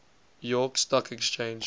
york stock exchange